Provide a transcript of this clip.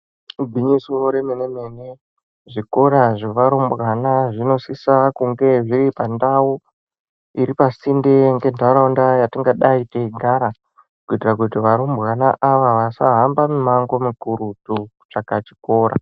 Igwinyiso remene mene zvikora zvearumbwana zvinosisa kunge zviripandau iripasinde ngentaraunda yatingadai teigara kuitira kuti arumbwana aya asahamba mumango mukurutu kutsvaka kuchikora.